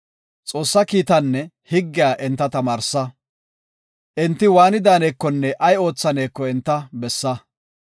Xoossa kiitaanne higgiya enta tamaarsa. Enti waani daanekonne ay oothaneko enta bessa.